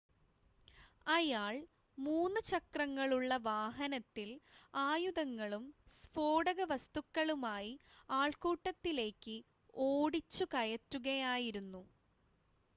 അയാൾ 3 - ചക്രങ്ങളുള്ള വാഹനത്തിൽ ആയുധങ്ങളും സ്ഫോടകവസ്തുക്കളുമായി ആൾക്കൂട്ടത്തിലേയ്ക്ക് ഓടിച്ചുകയറ്റുകയായിരുന്നു